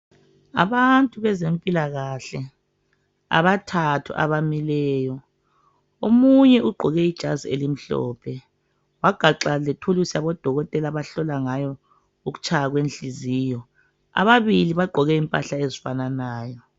Abantu bezempilakahle, abathathu abamileyo, omunye ugqoke ijazi elimhlophe wagaxa lethulusi labodokotela bahlola ngayo ukutshaya kwenhliziyo. ababili bagqoke impahla ezifananayo.